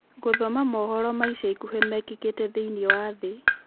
gũthoma mohoro ma ica ikuhĩ mekĩkĩte thĩĩni wa thĩ